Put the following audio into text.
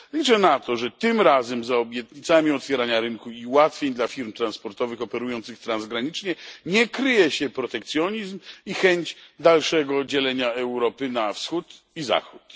Liczę na to, że tym razem za obietnicami otwierania rynku i ułatwień dla firm transportowych operujących transgranicznie nie kryje się protekcjonizm i chęć dalszego dzielenia Europy na Wschód i Zachód.